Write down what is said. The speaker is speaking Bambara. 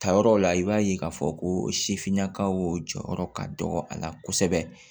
Tayɔrɔ la i b'a ye k'a fɔ ko sifinnakaw jɔyɔrɔ ka dɔgɔ a la kosɛbɛ